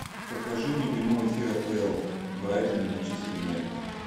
покажи мне прямой эфир апл брайтон и манчестер юнайтед